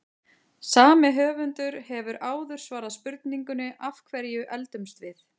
Sami höfundur hefur áður svarað spurningunni Af hverju eldumst við?